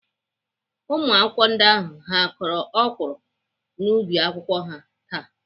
Ụmụakwụkwọ ndị ahụ ha kọrọ ọkwụrụ n'ubi akwụkwọ ha taa?